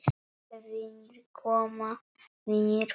Vinir koma, vinir fara.